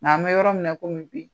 Nka an bɛ yɔrɔ min na komi bi